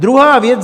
Druhá věc.